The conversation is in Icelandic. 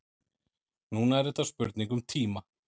Núna er þetta spurning um tíma.